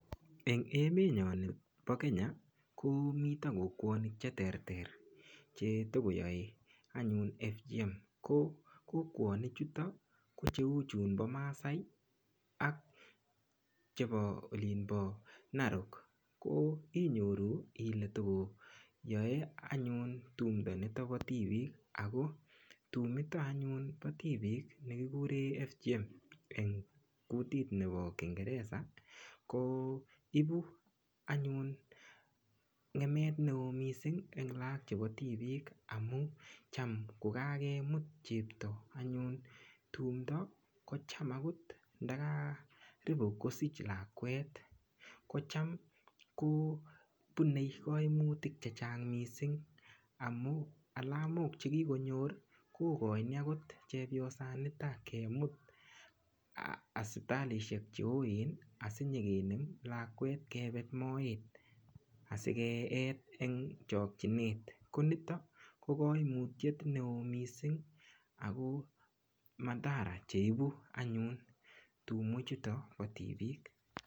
Eng emetnyo nebo Kenya komito kokwonik cheterter chetokoyoe anyun FGM ko kokwonik choto ko cheu chunpo Maasai ak chepo Olin po Narok ko inyoru ile tokoyoe anyun tumdo nito po tipik ako tumito anyun po tipik nekikuren (FGM) eng kutit nepo kingereza ko ipu anyun ng'emet neo mising eng laak chepo tipiik amun cham kokakemut anyun chepto tumdo kocham akot ndakaribu kosich lakwet kocham kopunei kaimutiet chechang mising amun alamok chekikonyor kokoini akot chepyosanitok kemut hospitalishek cheoen asikenem lakwet kepet moet asikeet eng chokchinet konitok ko koimutiet neo mising ako madhara cheibu anyun tumwek chutok po tipiik